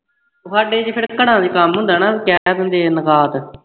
ਸਾਡੇ ਵਿਚ ਫੇਰ ਘਰਾਂ ਦੇ ਕੰਮ ਹੁੰਦਾ ਹੈ ਨਾ ਤਾਂ ਕਹਿ ਦਿੰਦੇ ਹਾਂ